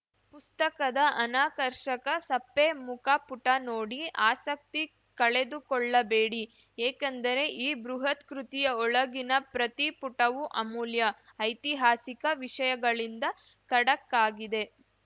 ಪುಸ್ತಕದ ಅನಾಕರ್ಷಕ ಸಪ್ಪೆ ಮುಖಪುಟ ನೋಡಿ ಆಸಕ್ತಿ ಕಳೆದುಕೊಳ್ಳಬೇಡಿ ಏಕೆಂದರೆ ಈ ಬೃಹತ್‌ ಕೃತಿಯ ಒಳಗಿನ ಪ್ರತಿ ಪುಟವೂ ಅಮೂಲ್ಯ ಐತಿಹಾಸಿಕ ವಿಷಯಗಳಿಂದ ಖಡಕ್ಕಾಗಿದೆ